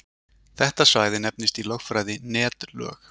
Þetta svæði nefnist í lögfræði netlög.